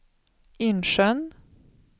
Insjön